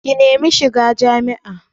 Ka nemi shiga jami'a